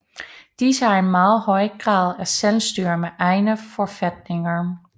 Disse har en meget høj grad af selvstyre med egne forfatninger